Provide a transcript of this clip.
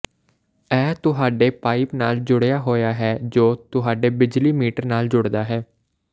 ਇਹ ਤੁਹਾਡੇ ਪਾਈਪ ਨਾਲ ਜੁੜਿਆ ਹੋਇਆ ਹੈ ਜੋ ਤੁਹਾਡੇ ਬਿਜਲੀ ਮੀਟਰ ਨਾਲ ਜੁੜਦਾ ਹੈ